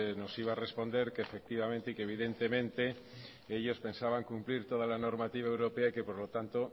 nos iba a responder que efectivamente y evidentemente ellos pensaban cumplir toda la normativa europea y que por lo tanto